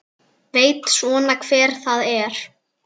Veit svona hver það er.